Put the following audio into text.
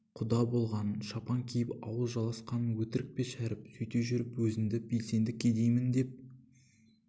құда болғаның шапан киіп ауыз жаласқаның өтірік пе шәріп сөйте жүріп өзіңді белсенді кедеймін деп